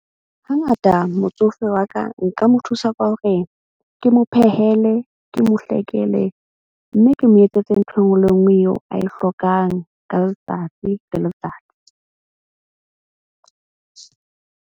Hangata motsofe wa ka nka mo thusa ka hore ke mo phehele, ke mo hlakele. Mme ke mo etsetse ntho e nngwe le e nngwe eo a e hlokang ka letsatsi le letsatsi.